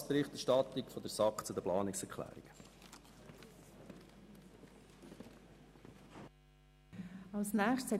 Dies ist die Berichterstattung der SAK zu den Planungserklärungen.